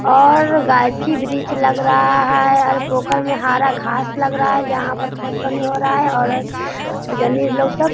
और गाक्षी-वृक्ष लग रहा है और पोखर में हरा घांस लग रहा है जहाँ पर खेत पानी हो रहा है और लोग सब --